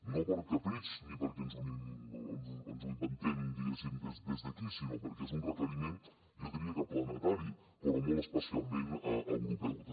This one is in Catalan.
no per capritx ni perquè ens ho inventem diguéssim des d’aquí sinó perquè és un requeriment jo diria que planetari però molt especialment europeu també